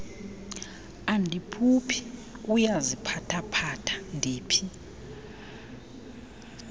andiphuphi uyaziphathaphatha ndiphi